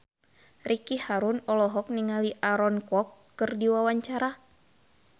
Ricky Harun olohok ningali Aaron Kwok keur diwawancara